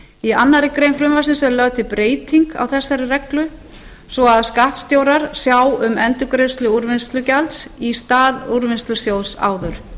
í annarri grein frumvarpsins er lögð til breyting á þessari reglu svo að skattstjórar sjá um endurgreiðslu úrvinnslugjalds í stað úrvinnslusjóðs áður